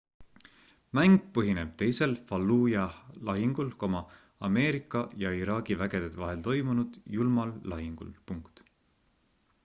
mäng põhineb teisel fallujah' lahingul ameerika ja iraagi vägede vahel toimunud julmal lahingul